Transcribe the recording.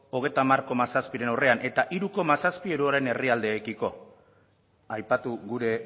hogeita hamar koma zazpiren aurrean eta hiru koma zazpi euro herrialdeekiko aipatu gure